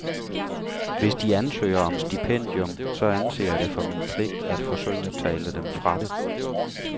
Hvis de ansøger om stipendium, så anser jeg det for min pligt at forsøge at tale dem fra det.